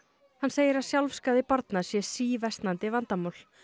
hann segir að barna sé síversnandi vandamál